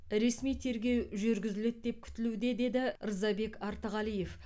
ресми тергеу жүргізіледі деп күтілуде деді рзабек артығалиев